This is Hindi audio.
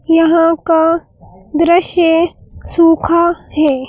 यहां का दृश्य सूखा है।